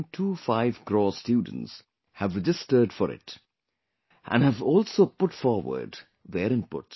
25 crore students have registered for it and have also put forward their inputs